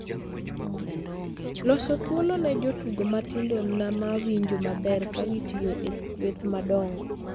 loso thuolo ne jotugo matindo ma winjo maber ka gitiyo e kweth madongo